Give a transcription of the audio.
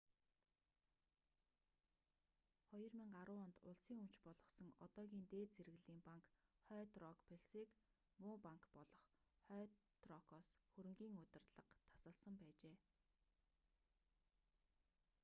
2010 онд улсын өмч болгосон одоогийн дээд зэрэглэлийн банк хойд рок плс-г ‘муу банк’ болох хойд рокоос хөрөнгийн удирдлага тасалсан байжээ